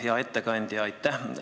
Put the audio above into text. Hea ettekandja, aitäh!